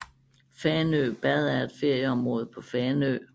Fanø Bad er et ferieområde på Fanø